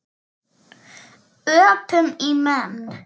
Öpum í menn.